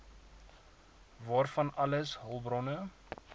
waarvan alles hulpbronne